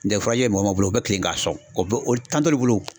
mɔgɔ o mɔgɔ bolo u bɛ kilen ka sɔn, o bɛ o t'olu bolo